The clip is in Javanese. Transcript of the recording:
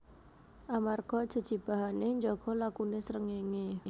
Amarga jejibahane njaga lakune srengenge